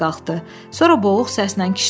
Sonra boğuq səslə kişnədi.